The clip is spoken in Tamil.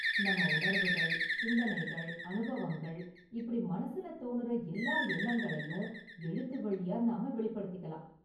நம்ம உணர்வுகள், சிந்தனைகள், அனுபவங்கள், இப்படி மனசுல தோனுற எல்லா எண்ணங்களையும் எழுத்து வழியா நாம வெளிப்படுத்திக்கலாம்.